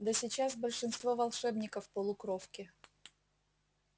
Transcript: да сейчас большинство волшебников полукровки